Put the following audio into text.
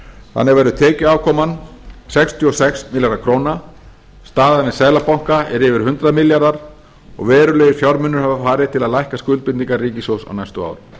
þannig verður tekjuafkoman sextíu og sex milljarðar króna staðan við seðlabanka er yfir hundrað milljarðar og verulegir fjármunir hafa farið til að lækka skuldbindingar ríkissjóðs á næstu árum legg